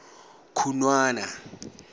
khunwana